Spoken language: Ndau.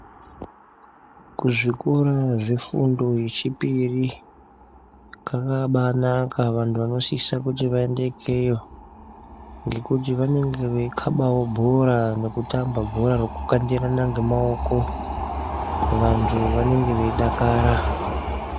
Kuzvikora kwefundo yechipiri kwakaba anaka vantu vanosise kuti vaende ikeyo ngekuti vanenge veikabawo bhora nekutamba bhora rekukandirana ngemaoko vanhu vanenge veidakara.